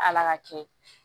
Ala ka kɛ